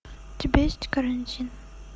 у тебя есть карантин